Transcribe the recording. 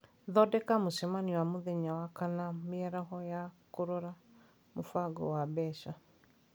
thondeka mũcemanio wa mũthenya wa kana mĩaraho ya kũrora mũbango wa mbeca